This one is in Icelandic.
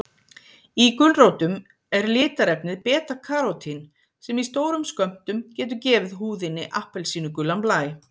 Í gulrótum er litarefnið beta-karótín sem í stórum skömmtum getur gefið húðinni appelsínugulan blæ.